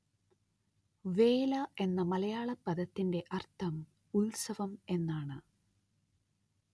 വേല എന്ന മലയാള പദത്തിന്റെ അര്‍ത്ഥം ഉത്സവം എന്നാണ്